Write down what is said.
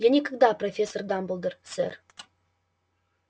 я никогда профессор дамблдор сэр